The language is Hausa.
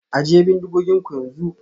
Ajiye bindigoginku yanzu